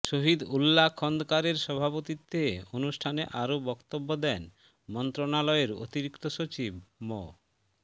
শহীদ উল্লা খন্দকারের সভাপতিত্বে অনুষ্ঠানে আরও বক্তব্য দেন মন্ত্রণালয়ের অতিরিক্ত সচিব মো